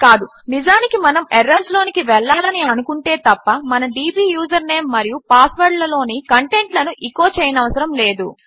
కాదు నిజానికి మనము ఎర్రర్స్ లోనికి వెళ్ళాలని అనుకుంటే తప్ప మన డీబీ యూజర్నేమ్ మరియు పాస్వర్డ్లలోని కంటెంట్లను ఎచో చేయనవసరము లేదు